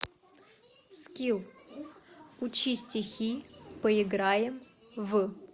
скилл учи стихи поиграем в